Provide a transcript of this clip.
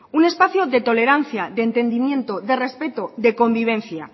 un espacio de tolerancia de entendimiento de respeto de convivencia